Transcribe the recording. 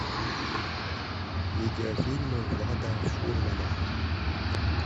видеофильмы влада фурмана